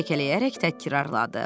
Piqlet kəkələyərək təkrarladı.